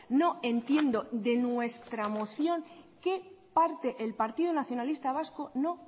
no entiendo de nuestra moción qué parte el partido nacionalista vasco no